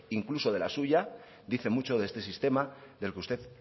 incluso de la suya dice mucho de este sistema del que usted